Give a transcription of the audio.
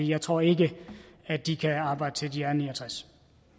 jeg tror ikke at de kan arbejde til de er ni og tres